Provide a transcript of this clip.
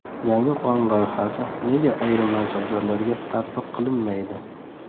Yangi qonun loyihasi nega ayrim mansabdorlarga tatbiq qilinmaydi?